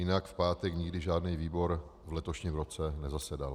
Jinak v pátek nikdy žádný výbor v letošním roce nezasedal.